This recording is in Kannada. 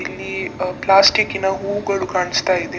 ಇಲ್ಲಿ ಆ ಪ್ಲಾಸ್ಟಿಕ್ ನ ಹೂಗಳು ಕಾಣಿಸ್ತಾ ಇದೆ.